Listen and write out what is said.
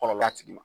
Kɔlɔlɔ a tigi ma